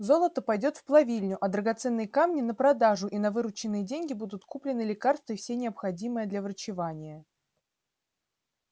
золото пойдёт в плавильню а драгоценные камни на продажу и на вырученные деньги будут куплены лекарства и все необходимые для врачевания